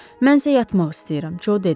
Mən isə yatmaq istəyirəm, Co dedi.